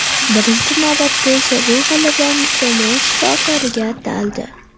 Birinchi navbatda esa bu g‘alabamiz jamoa shifokoriga ataldi.